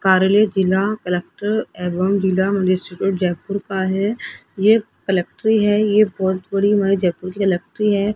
कार्यालय जिला कलेक्टर एवं जिला मजिस्ट्रेट जयपुर का है ये कलेक्ट्री है ये बहुत बड़ी जयपुर की कलेक्टरी है।